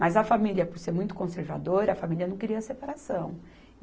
Mas a família, por ser muito conservadora, a família não queria separação.